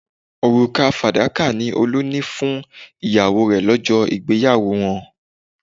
Òrùka fàdákà ni Olú ni fún ìyàwó rẹ̀ lọ́jọ́ ìgbéyàwó wọn